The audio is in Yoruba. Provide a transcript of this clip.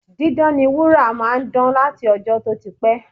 Dídán ni wúrà máa ń dán láti ọjọ́ tó ti pẹ́